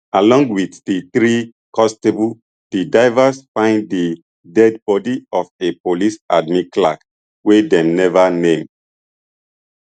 along wit di three constables di divers find di deadbody of a police admin clerk wey dem neva name